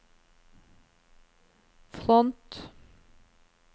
front